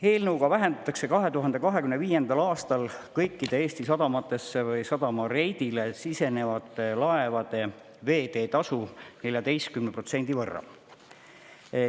Eelnõu kohaselt vähendatakse 2025. aastal kõikidel Eesti sadamatesse või sadama reidile sisenevatel laevadel veeteetasu 14% võrra.